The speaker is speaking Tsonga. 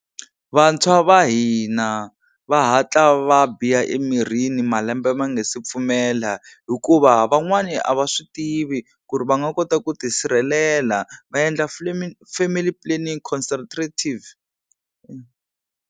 Vantshwa va hina va hatla va biha emirini malembe ma nga si pfumela hikuva van'wani a va swi tivi ku ri va nga kota ku tisirhelela va endla family planning concentrative.